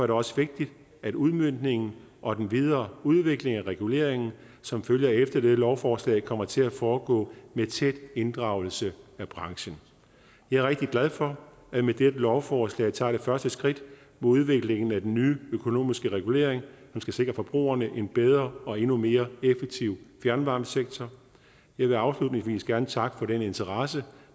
det også vigtigt at udmøntningen og den videre udvikling af reguleringen som følger efter dette lovforslag kommer til at foregå med tæt inddragelse af branchen jeg er rigtig glad for at vi med dette lovforslag tager det første skridt mod udviklingen af den nye økonomiske regulering som skal sikre forbrugerne en bedre og endnu mere effektiv fjernvarmesektor jeg vil afslutningsvis gerne takke for den interesse